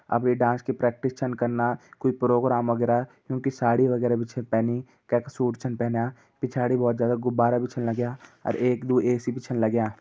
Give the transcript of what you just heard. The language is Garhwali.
अबी यी डांस की प्रैक्टिस छन कन्ना कोई प्रोग्राम वगेरा। युं की साड़ी वगेरा बि छन पहनी कैका सूट छन पहनिया। पीछाड़ि बोहोत ज्यादा गुब्बारा बि छन लग्या अर एक दू ए_सी बि छन लग्या।